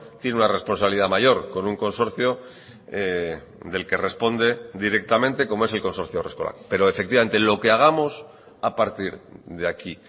tiene una responsabilidad mayor con un consorcio del que responde directamente como es el consorcio haurreskolak pero efectivamente lo que hagamos a partir de aquí